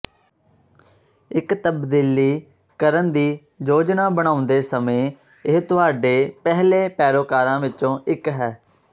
ਇੱਕ ਤਬਦੀਲੀ ਕਰਨ ਦੀ ਯੋਜਨਾ ਬਣਾਉਂਦੇ ਸਮੇਂ ਇਹ ਤੁਹਾਡੇ ਪਹਿਲੇ ਪੈਰੋਕਾਰਾਂ ਵਿੱਚੋਂ ਇੱਕ ਹੈ